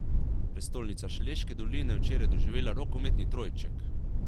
Prestolnica Šaleške doline je včeraj doživela rokometni trojček.